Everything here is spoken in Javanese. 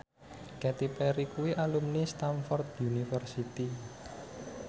Katy Perry kuwi alumni Stamford University